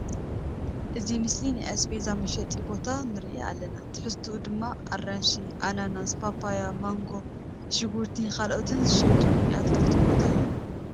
እዚ ምስሊ ናይ ኣስቤዛን መሻጢ ቦታ ንርኢ ኣልና ትሕዝትኦ ድማ ኣራንሺ፡ ኣናናስ፡ ፓፓያ ፡ማንጎ፡ ሽጉርቲ ካልኦትን ዝሽይጥሉ ናይ ኣትክልቲ ቦታ እዩ።